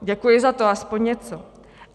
Děkuji za to, aspoň něco.